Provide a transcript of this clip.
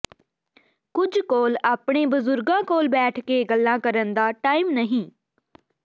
ਕੁਝ ਕੋਲ ਆਪਣੇ ਬਜ਼ੁਰਗਾਂ ਕੋਲ ਬੈਠ ਕੇ ਗੱਲਾ ਕਰਨ ਦਾ ਟਾਇਮ ਨਹੀਂ